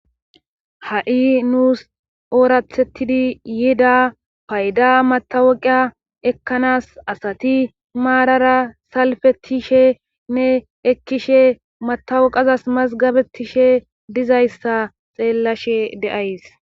ha7i nuus oorathettidi yiida payda matawaqa ekkanas asati maarara salfetishenne ekkishe matawuqazas mazgabetishe dizayssa xeellashe de7ays